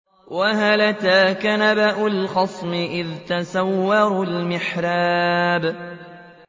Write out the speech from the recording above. ۞ وَهَلْ أَتَاكَ نَبَأُ الْخَصْمِ إِذْ تَسَوَّرُوا الْمِحْرَابَ